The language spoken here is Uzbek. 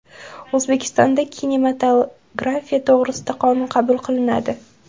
O‘zbekistonda kinematografiya to‘g‘risida qonun qabul qilinadi .